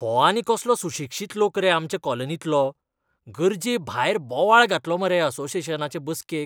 हो आनीक कसलो सुशिक्षीत लोक रे आमचे कॉलनींतलो. गरजेभायर बोवाळ घातलो मरे असोसियेशनाचे बसकेक!